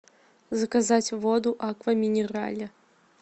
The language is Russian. заказать воду аква минерале